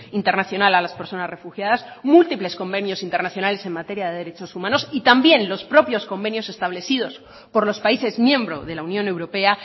internacional a las personas refugiadas múltiples convenios internacionales en materia de derechos humanos y también los propios convenios establecidos por los países miembro de la unión europea